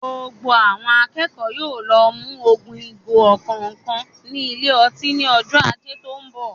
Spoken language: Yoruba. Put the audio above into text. Gbogbo àwọn akẹ́kọ̀ọ́ yóò lọ mu ogún ìgò ọ̀kọ̀ọ̀kan ní ilé ọtí ní ọjọ́ Ajé tó ń bọ̀.